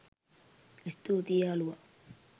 ස්තුතියි යාළුවා